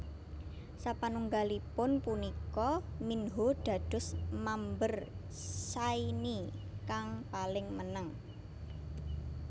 Sapanunggalipun punika Minho dados mamber Shinee kang paling meneng